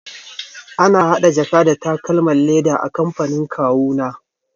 Ana hada jaka da takalman leda a kamfanin kawuna.